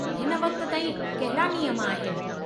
हिन वक़्त ताईं कहिड़ा नियम आहिनि।